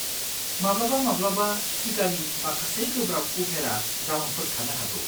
माब्लाबा-माब्लाबा टिकानि माखासे गोब्राब उफेरा जाउनफोर थानो हागौ।